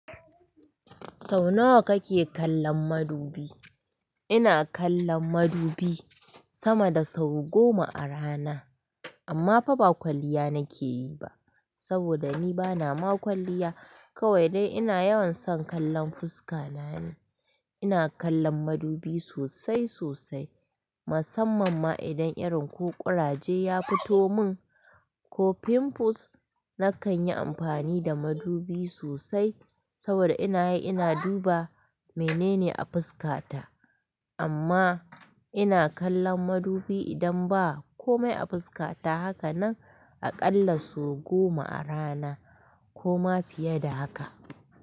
Sau nawa kake kallon madubi? Ina kallon madubi sama da sau goma a rana, amma fa ba kwalliya nake yi ba saboda ni bana ma kwalliya. Kawai dai ina yawan son kallon fuska na ni. Ina kallon madubi sosai sosai, musamman ma idan irin ko ƙuraje ya fito min ko pimples. Nakan yi amfani da madubi sosai saboda ina yi ina duba menene a fuskata. Amma ina kallon madubi idan ba kome a fuskata haka nan aƙalla sau goma a rana ko ma fiye da haka.